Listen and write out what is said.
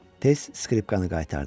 Tez skripkanı qaytardım.